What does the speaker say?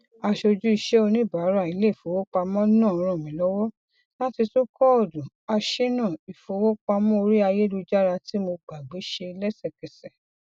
asojú iṣẹ oníbàárà iléifowopamọ naa ràn mí lọwọ láti tún kóòdù aṣínà ìfowopamọ ori ayélujára tí mo gbàgbé ṣe lẹsẹkẹsẹ